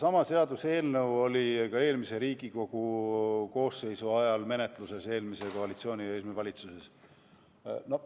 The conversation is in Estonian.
Seesama seaduseelnõu oli menetluses ka eelmise Riigikogu koosseisu ajal, eelmise koalitsiooni, eelmise valitsuse ajal.